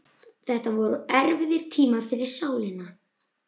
Þetta voru erfiðir tímar fyrir sálina.